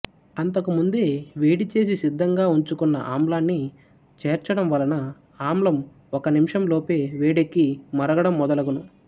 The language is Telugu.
అంతకు ముందే వేడి చేసి సిద్ధంగా వుంచుకున్న ఆమ్లాన్ని చెర్చడం వలన ఆమ్లం ఒక నిమిషాంలోపే వేడెక్కి మరగడం మొదలగును